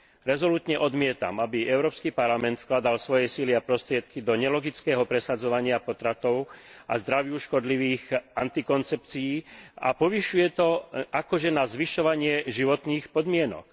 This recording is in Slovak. Rezolútne odmietam, aby Európsky parlament vkladal svoje sily a prostriedky do nelogického presadzovania potratov a zdraviu škodlivých antikoncepcií, a povyšuje to na takzvané zvyšovanie životných podmienok.